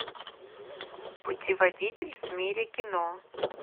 путеводитель в мире кино